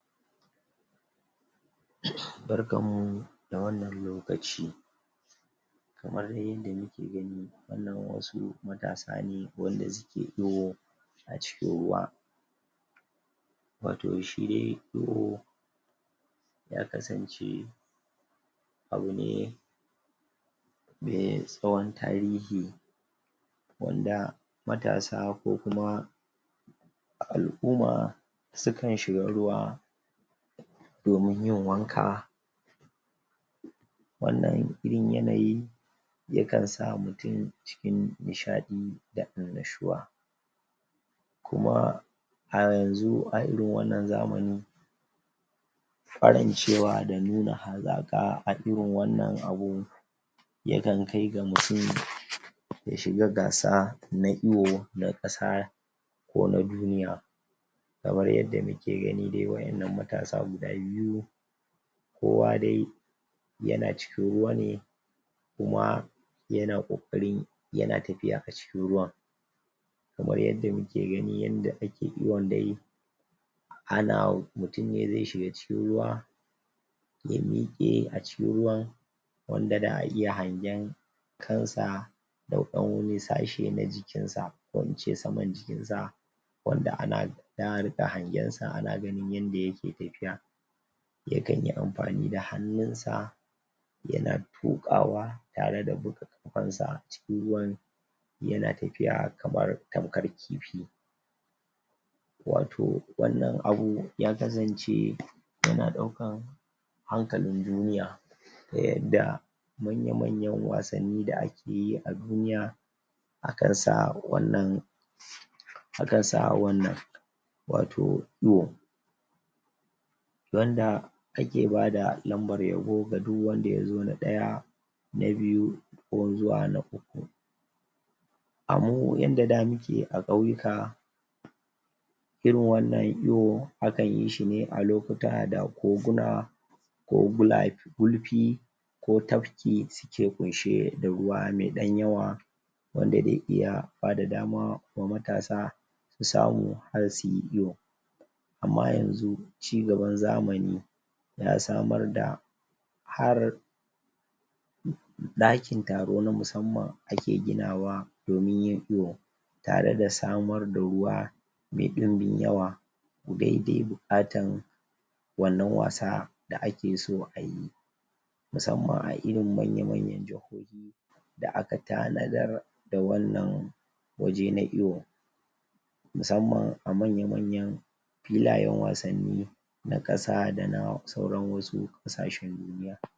barkan mu da wannan lokaci kamar yadda muke gani wannan wasu matasa ne wanda suke iwo a cikin ruwa wato shi iwo ya kasance abu ne me tsahon tarihi wanda matasa ko kuma al'umma sukuan shiga ruwa domin yin wanka wannan irin yanayi yakan sa mutum cikin nishaɗi da annashuwa kuma a yanzu a irin wannan zamani ƙwarancewa da nuna hazaƙa a irin wannan abu yakan kai ga mutum ya shiga gasa na iwo na ƙasa ko na duniya kamar yadda muke gani dai waƴannan matasa guda biyu kowa dai yana cikin ruwa ne kuma yana ƙoƙari yana tafiya a cikin ruwan kamar yadda muke gani yadda ake iwon dai ana mutum ne ze shiga cikin ruwa ya miƙe a cikin ruwan wanda da'a iya hangen kansa da ɗan wani sashe na jikin sa ko ince saman jikin sa wanda ana za'a riƙa hangen sa ana ganin yanda yake tafiya yakan yi amfani da hannausa yana tuƙawa tare da bubbaɗe ƙafansa a cikin ruwan yana tafiya tamkar kamar kifi wato wannan abu ya kasance yana ɗaukan hankalin duniya ta yanda manya manyan wasanni da ake yi a duniya akan sa wannan akan sa wannan wato iwo wanda kake bada lambar yabo ga duk wanda yazo na ɗaya na biyu ko zuwa na uku a mu yanda da muke a ƙauyika irin wannan iwo akan yishi ne a lokuta da koguna kogulaf gulfi ko tafki suke ƙunshe da ruwa me ɗan yawa wanda ze iya bada dama da matasa su samu har suyi iwo amma yanzu ci gaban zamani ya samar da har ɗakin taro na musamman ake ginawa domin yin iwo tare da samar da ruwa me ɗunbin yawa daidai buƙatar wannan wasa da ake so ayi musamman a irin manya manyan jahohi da aka tanadar da wannan waje na iwo musamman a manya manyan filayen wasanni na ƙasa dana sauran wasu ƙasashen duniya